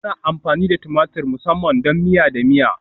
Ana amfani da tumatur musamman don miya da miya